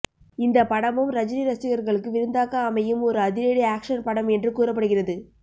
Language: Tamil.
இந்த படமும் ரஜினி ரசிகர்களுக்கு விருந்தாக அமையும் ஒரு அதிரடி ஆக்சன் படம் என்று கூறப்படுகிறது